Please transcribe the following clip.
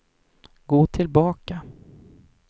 gå tillbaka